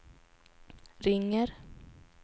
ringer